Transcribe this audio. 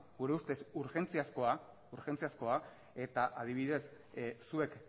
gure ustez urgentziazkoa eta adibidez zuek